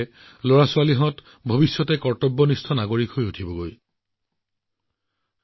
কম বয়সতে পৰিৱেশৰ প্ৰতি এই সজাগতাই এই শিশুসকলক দেশৰ কৰ্তব্যপৰায়ণ নাগৰিক হিচাপে গঢ়ি তোলাত বহুখিনি সহায় কৰিব